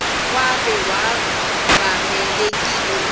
kwaye babevamelekile ukuba